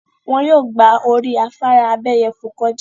Wọ́n yóò gba orí afárá abéyẹfò kọjà.